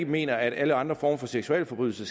mener at alle andre former for seksualforbrydelser